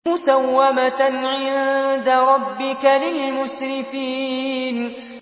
مُّسَوَّمَةً عِندَ رَبِّكَ لِلْمُسْرِفِينَ